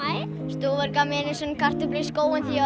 stúfur gaf mér einu sinni kartöflu í skóinn því